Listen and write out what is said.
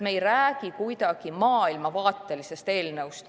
Me ei räägi siin maailmavaatelisest eelnõust.